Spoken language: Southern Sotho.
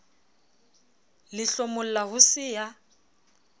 le hlomolla ho se ya